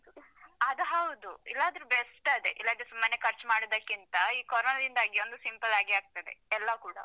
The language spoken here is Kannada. ಅದು ಹೌದು. ಇಲ್ಲದ್ರೂ best ಅದೇ. ಇಲ್ಲದ್ರೆ ಸುಮ್ಮನೆ ಖರ್ಚ್ ಮಾಡುದಕ್ಕಿಂತ ಈ ಕೋರೋನದಿಂದಾಗಿ ಒಂದು simple ಆಗಿ ಆಗ್ತದೆ, ಎಲ್ಲ ಕೂಡ